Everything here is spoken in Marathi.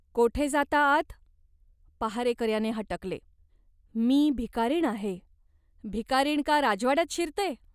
"कोठे जाता आत ?" पहारेकऱ्याने हटकले. "मी भिकारीण आहे." "भिकारीण का राजवाड्यात शिरते ?